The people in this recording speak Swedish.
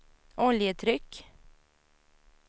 oljetryck